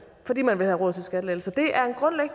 fordi man vil have råd til skattelettelser det